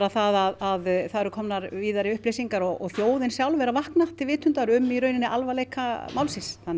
það að það eru komnar víðari upplýsingar og þjóðin sjálf er að vakna til vitundar um alvarleika málsins þannig